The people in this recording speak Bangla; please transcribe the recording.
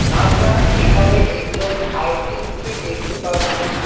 আমরা এখানে একজন আর্টিস্টকে দেখতে পারছি।